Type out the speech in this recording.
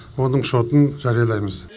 оның шотын жариялаймыз